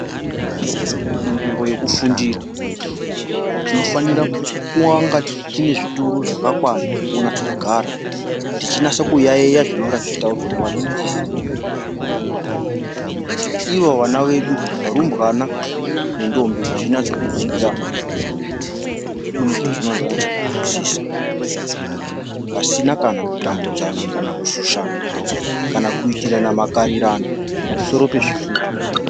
Munzvimbo yekufundira tinofanira kunge tine zvituru zvakakwana zvenyatso kugara techinaso kuyayeya zvinonga zvechitaurwa nevadzidzisi kuti ivo vana vedu rumbwana nendhombi zvinatse kudzidza munezvazvinonatse kunzwisisa pasina kana kutambudzana kana kushushana kana kuitirana mikarirano pamusoro pezvituru.